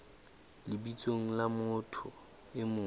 lebitsong la motho e mong